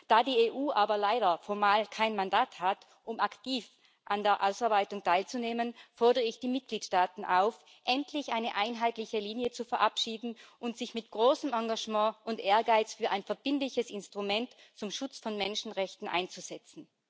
Da die EU aber leider formal kein Mandat hat, um aktiv an der Ausarbeitung teilzunehmen, fordere ich die Mitgliedstaaten auf, endlich eine einheitliche Linie zu verabschieden und sich mit großem Engagement und Ehrgeiz für ein verbindliches Instrument zum Schutz von Menschenrechten einzusetzen.